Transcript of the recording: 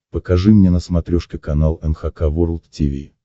покажи мне на смотрешке канал эн эйч кей волд ти ви